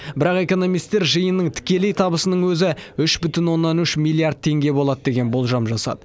бірақ экономистер жиынның тікелей табысының өзі үш бүтін оннан үш миллиард теңге болады деген болжам жасады